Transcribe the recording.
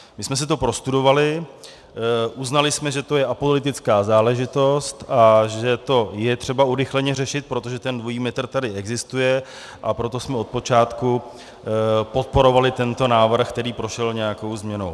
My jsme si to prostudovali, uznali jsme, že to je apolitická záležitost a že to je třeba urychleně řešit, protože ten dvojí metr tady existuje, a proto jsme od počátku podporovali tento návrh, který prošel nějakou změnou.